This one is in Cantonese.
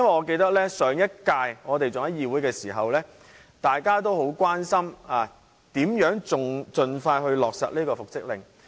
記得在上一屆議會時，大家都很關心如何盡快落實復職令。